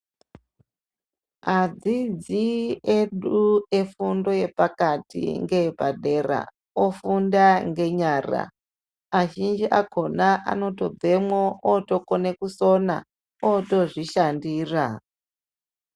Adzidzi edu efundo yepakati ngeyepadera ofunda ngenyara. Azhinji akona anotobvemwo otokone kusona otozvishandira.